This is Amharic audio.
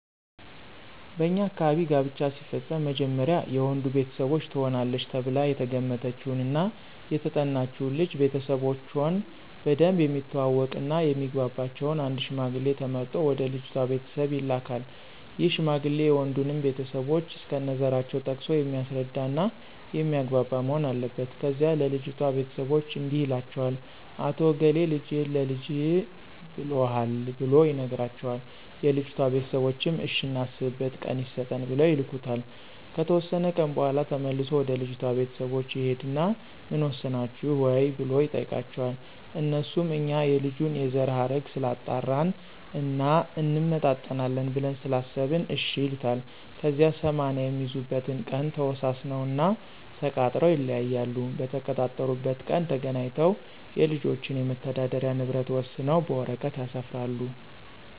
በኛ አካባቢ ጋብቻ ሲፈፀም መጀመሪያ የወንዱ ቤተሰቦች ትሆናለች ተብላ የተገመተችውን እና የተጠናችውን ልጅ ቤተሰቦቾን በደንብ የሚተዋወቅ እና የሚግባባቸውን አንድ ሽማግሌ ተመርጦ ወደ ልጅቷ ቤተሰቦች ይላካን ይህ ሽማግሌ የወንዱንም ቤተሰቦች እስከነዘራቸው ጠቅሶ የሚያስረዳ እና የሚያግባባ መሆን አለበት። ከዚያ ለልጅቷ ቤተሰቦች እንዲህ ይላቸዋል "አቶ እገሌ ልጅህን ለልጀ ብሎሀል"ብሎ ይነግራቸዋል የልጅቷ ቤተሰቦችም እሽ እናስብበት ቀን ይሰጠን ብለው ይልኩታል። ከተወሰነ ቀን በኋላ ተመልሶ ወደ ልጅቷ ቤተሰቦች ይሂድና ምን ወሰናችሁ ወይ ብሎ ይጠይቃቸዋል? አነሱም እኛ የልጁን የዘረሀረግ ስላጣራን እና እንመጣጠናለን ብለን ስላሰበን እሽ ይሉታል። ከዚያ 80 የሚይዙበትን ቀን ተወሳስነውና ተቃጥረው ይለያያሉ። በተቀጣጠሩበት ቀን ተገናኝተው የልጆችን የመተዳደሪ ንብረት ወሰነው በወረቀት ያሰፍራሉ።